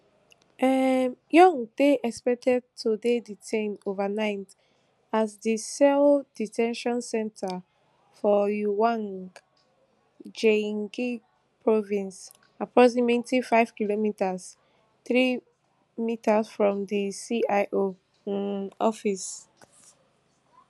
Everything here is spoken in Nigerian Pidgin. um yoon dey expected to dey detained overnight at di seoul de ten tion centre for uiwang gyeonggi province approximately fivekm three mi from di cio um office